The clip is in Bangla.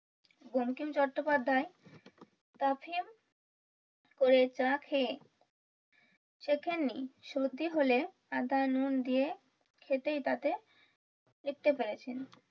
বঙ্কিম চট্টোপ্যাধ্যায় তাফিম করে চা খেয়ে সেখানেই সর্দি হলে আদা নুন দিয়ে খেতেই তাতে তৃপ্তি পেয়েছেন